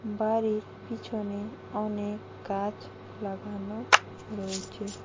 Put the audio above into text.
বাড়ির পিছনে অনেক গাছ লাগানো রয়েচে।